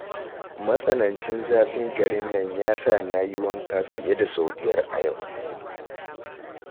Matsanancin zafin garin nan ya sa na yi wanka fiye da sau biyar a yau